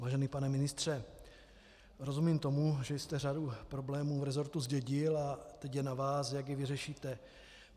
Vážený pane ministře, rozumím tomu, že jste řadu problémů v resortu zdědil a teď je na vás, jak je vyřešíte.